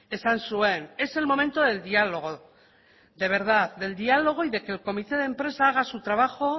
esan zuen es el momento del diálogo de verdad del diálogo y de que el comité de empresa haga su trabajo